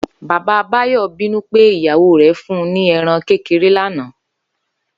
Bàbá Báyò̩ bínú pé ìyàwó rè̩ fun ni e̩ran kékeré lánàá